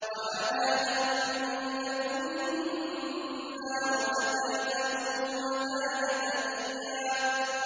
وَحَنَانًا مِّن لَّدُنَّا وَزَكَاةً ۖ وَكَانَ تَقِيًّا